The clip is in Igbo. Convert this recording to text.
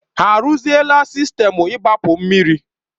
Ha arụzila sistemu igbapu mmiri?